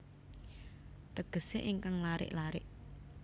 Tegesé ingkang larik larik